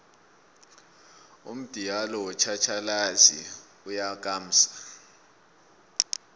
umdialo wotjhatjhalazi uyakamsa